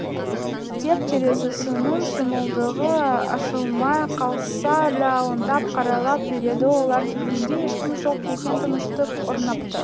деп терезесінің шымылдығы ашылмай қалса да алаңдап қарайлап жүреді олар келгенде ешкім жоқ екен тыныштық орнапты